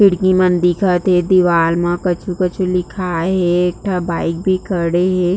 खिड़की मन दिखत हे दिवाल म कछु-कछु लिखाए हे एकठो बाइक भी खड़े हे।